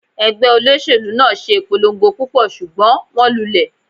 Ẹgbẹ́ olóṣèlú náà ṣe ìpolongo púpọ̀, ṣùgbọ́n wón lulẹ̀.